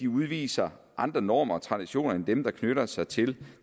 udviser andre normer og traditioner end dem der knytter sig til